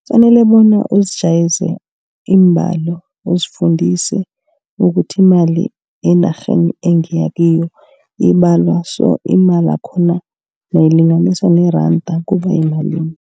Kufanele bona uzijayeze iimbalo. Uzifundise ukuthi imali enarheni engiya kiyo ibalwa so. Imali yakhona nayilinganiswa neranda kuba yimalini.